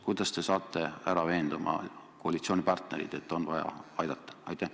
Kuidas te saate veenda oma koalitsioonipartnereid, et on vaja aidata?